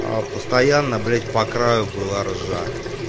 постоянно блять по краю была ржа